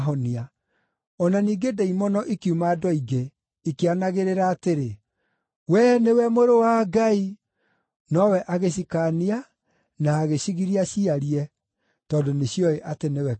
O na ningĩ ndaimono ikiuma andũ aingĩ, ikĩanagĩrĩra atĩrĩ, “Wee nĩwe Mũrũ wa Ngai!” Nowe agĩcikaania na agĩcigiria ciarie, tondũ nĩcioĩ atĩ nĩwe Kristũ.